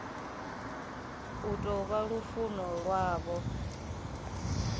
u tou vha lufuno lwavho